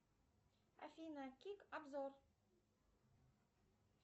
афина кик обзор